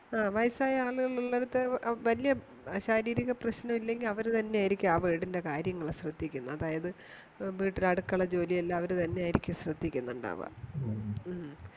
ആ വയസ്സായ ആളുകൾ ഉള്ളടുത്തു വല്യ ശാരീരിക പ്രശ്നങ്ങളൊന്നുല്യാങ്കിൽ അവരെന്നെയായിരിക്കും ആ വീടിന്റെ കാര്യങ്ങൾ ശ്രദ്ധിക്കുന്നത് അതായത് വീട്ടിലെ അടുക്കള ജോലിയെല്ലാം അവര് തന്നെ ആയിരിക്കും ശ്രദ്ധിക്കുന്നുണ്ടാവാ